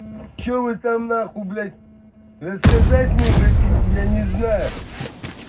что вы там нахуй блять рассказать мне хотите я не знаю